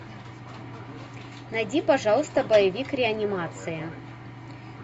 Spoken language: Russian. найди пожалуйста боевик реанимация